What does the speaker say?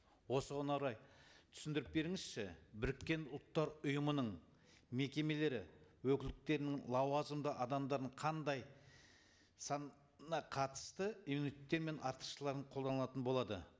осыған орай түсіндіріп беріңізші біріккен ұлттар ұйымының мекемелері өкілдіктерінің лауазымды адамдардың қандай санына қатысты иммунитеттер мен артықшыларын қолданылатын болады